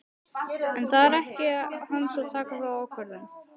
En það er ekki hans að taka þá ákvörðun.